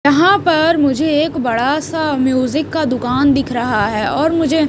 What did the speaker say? यहां पर मुझे एक बड़ा सा म्यूजिक का दुकान दिख रहा है और मुझे--